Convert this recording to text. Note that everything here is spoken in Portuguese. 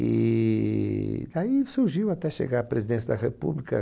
E daí ele surgiu até chegar à presidência da República.